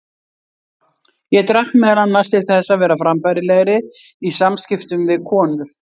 Ég drakk meðal annars til þess að vera frambærilegri í samskiptum við konur.